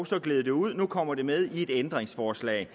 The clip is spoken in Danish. så gled det ud og nu kommer det med i et ændringsforslag